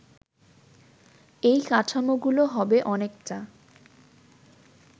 এই কাঠামোগুলো হবে অনেকটা